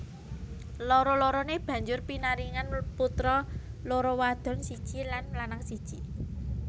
Loro loroné banjur pinaringan putra loro wadon siji lan lanang siji